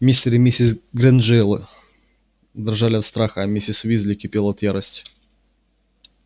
мистер и миссис грэйнджеры дрожали от страха а миссис уизли кипела от ярости